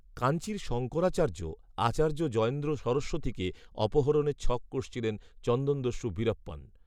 কাঞ্চীর শঙ্করাচার্য, আচার্য জয়েন্দ্র সরস্বতীকে অপহরণের ছক কষেছিলেন চন্দনদস্যু বীরাপ্পন